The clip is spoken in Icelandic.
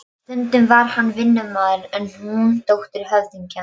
Hún lítur niður á varðhundinn við dyrnar.